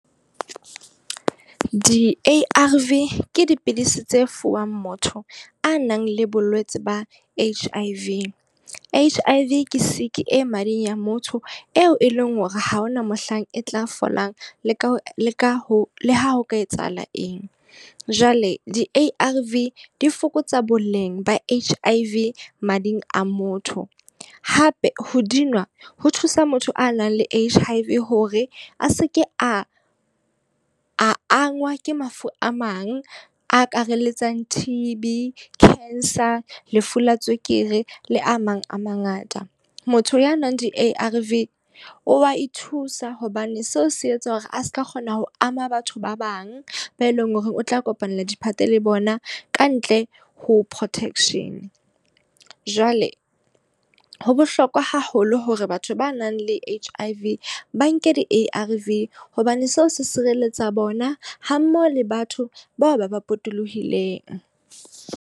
Di-A_R_V ke dipidisi tse fuwang motho a nang le bolwetsi ba H_I_V. H_I_V ke sick e mading a motho eo e leng hore ha hona mohlang e tla fetolang le ka leka ho le ha ho ka etsahala eng. Jwale di-A_R_V di fokotsa boleng ba H_I_V mading a motho. Hape ho dinwa ho thusa motho a nang le H_I_V hore a seke a a angwa ke mafu a mang akaraletsang T_B, cancer, lefu la tswekere le a mang a mangata. Motho ya nwang di-A_R_V, o wa ithusa hobane seo se etsa hore a seka kgona ho ama batho ba bang ba e leng hore o tla kopanela diphate le bona ka ntle ho protection. Jwale ho bohlokwa haholo hore batho ba nang le H_I_V ba nke di-A_R_V hobane seo se sireletsa bona ha mmoho le batho bao ba ba potolohileng.